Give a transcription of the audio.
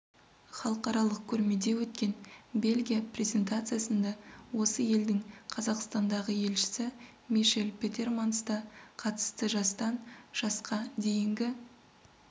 халықаралық көрмеде өткен бельгия презентациясында осы елдің қазақстандағы елшісі мишель петерманс та қатысты жастан жасқа дейінгі